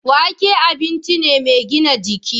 Wake abinci ne mai gina jiki.